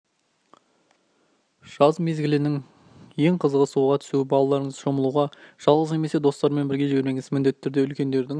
жаз мезгілінің ең қызығы суға түсу балаларыңызды шомылуға жалғыз немесе достарымен бірге жібермеңіз міндетті түрде үлкендердің